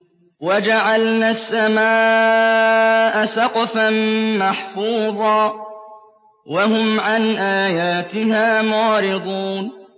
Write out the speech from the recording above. وَجَعَلْنَا السَّمَاءَ سَقْفًا مَّحْفُوظًا ۖ وَهُمْ عَنْ آيَاتِهَا مُعْرِضُونَ